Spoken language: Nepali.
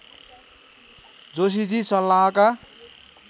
जोशीजी सल्लाहका